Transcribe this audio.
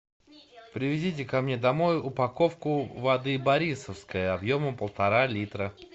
привезите ко мне домой упаковку воды борисовская объемом полтора литра